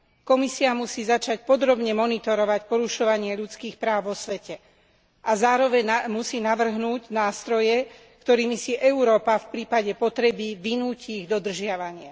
Komisia musí začať podrobne monitorovať porušovanie ľudských práv vo svete a zároveň musí navrhnúť nástroje, ktorými si Európa, v prípade potreby, vynúti ich dodržiavanie.